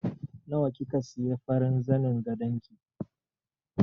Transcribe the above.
Nawa kika siya farin zanin gadon ki?